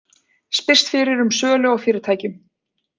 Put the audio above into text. Spyrst fyrir um sölu á fyrirtækjum